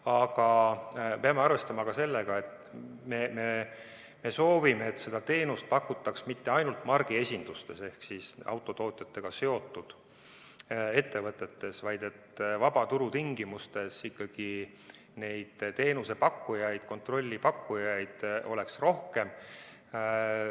Aga peame arvestama ka sellega, et me soovime, et seda teenust pakutaks mitte ainult margiesindustes ehk autotootjatega seotud ettevõtetes, vaid et vabaturu tingimustes ikkagi neid teenuse pakkujaid, kontrolli pakkujaid oleks rohkem.